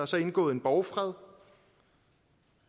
så indgået en borgfred